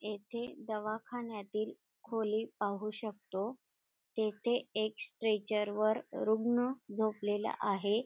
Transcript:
येथे दवाखान्यातील खोली पाहू शकतो तेथे एक स्ट्रेचर वर रुग्ण झोपलेला आहे.